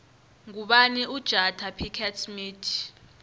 ngubani ujada pickett smith